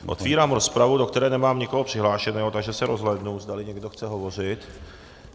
Otevírám rozpravu, do které nemám nikoho přihlášeného, takže se rozhlédnu, zdali někdo chce hovořit.